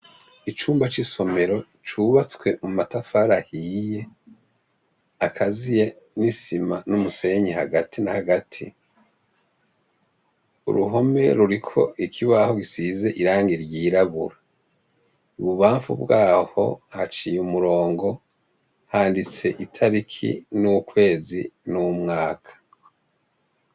Icumba c'isomero cubatswe mu matafar'ahiy' akaziye n isima n umusenyi hagati na hagati, uruhome rurik' ikibaho gisiz' irangi ryirabura , ibubamfu bwaho haciy' umurongo handits' itariki n'ukwezi n' umwaka.